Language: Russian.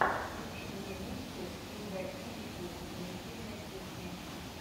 включи мне миксы людаизикук позитивной кухни